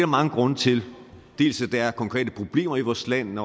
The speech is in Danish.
mange grunde til dels er konkrete problemer i vores land